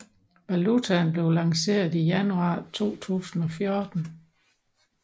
Valutaen blev lanceret i januar 2014